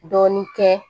Dɔɔnin kɛ